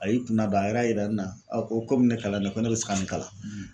A y'i kun nadon a yɛrɛ y'a yira ne na komi ne kalannen don ne bɛ se ka nin kalan